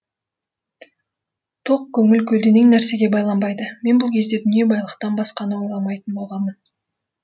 тоқ көңіл көлденең нәрсеге байланбайды мен бұл кезде дүние байлықтан басқаны ойламайтын болғанмын